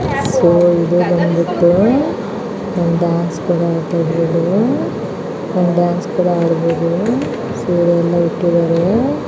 So ಇದು ಬಂದ್ಬಿಟ್ಟು ಬಂದು ಡಾನ್ಸ್ ಕೂಡ ಆಡಬಹುದು. ಸೊ ಇದೆಲ್ಲ ಇಟ್ಟಿದಾರೆ.